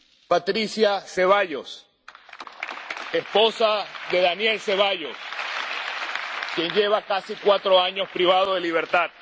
Patricia de Ceballos, esposa de Daniel Ceballos, quien lleva casi cuatro años privado de libertad